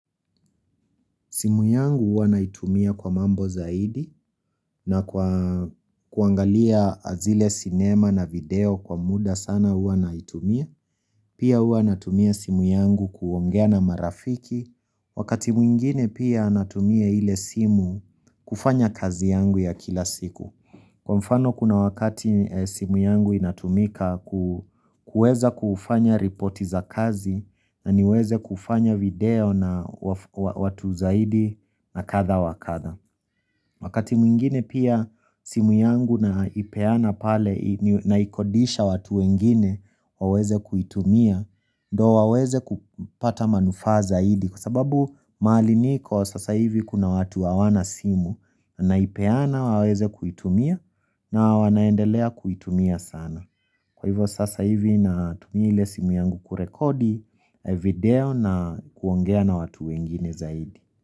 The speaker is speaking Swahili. Simu yangu hua naitumia kwa mambo zaidi na kuangalia zile sinema na video kwa muda sana hua naitumia. Pia hua natumia simu yangu kuongea na marafiki. Wakati mwingine pia natumia ile simu kufanya kazi yangu ya kila siku. Kwa mfano kuna wakati simu yangu inatumika kuweza kufanya ripoti za kazi na niweze kufanya video na watu zaidi na kadha wakadha. Makati mwingine pia simu yangu naipeana pale naikodisha watu wengine waweze kuitumia ndio waweze kupata manufaa zaidi kwa sababu mahali niko sasa hivi kuna watu hawana simu naipeana waweze kuitumia na wanaendelea kuitumia sana. Kwa hivyo sasa hivi na tumia ile simu yangu kurekodi video na kuongea na watu wengine zaidi.